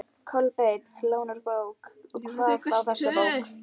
Kolbeinn lánar bók, og hvað þá þessa bók.